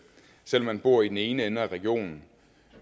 selv om man bor i den ene ende af regionen